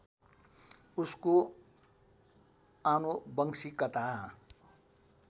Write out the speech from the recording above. उसको आनुवंशिकता